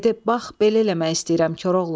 Dedi: "Bax belə eləmək istəyirəm Koroğlu."